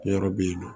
Yɔrɔ bɛ yen nɔ